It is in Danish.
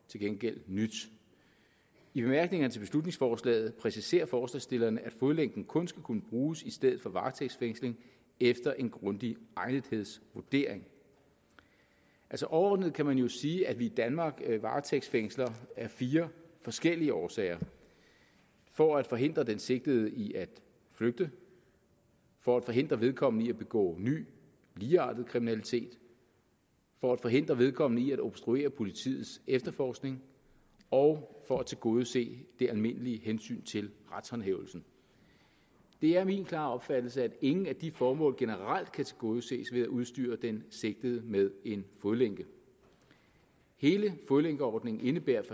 gengæld nyt i bemærkningerne til beslutningsforslaget præciserer forslagsstillerne at fodlænken kun skal kunne bruges i stedet for varetægtsfængsling efter en grundig egnethedsvurdering altså overordnet kan man jo sige at vi i danmark varetægtsfængsler af fire forskellige årsager for at forhindre den sigtede i at flygte for at forhindre vedkommende i at begå ny ligeartet kriminalitet for at forhindre vedkommende i at obstruere politiets efterforskning og for at tilgodese det almindelige hensyn til retshåndhævelsen det er min klare opfattelse at ingen af de formål generelt kan tilgodeses ved at udstyre den sigtede med en fodlænke hele fodlænkeordningen indebærer